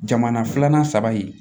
Jamana filanan saba ye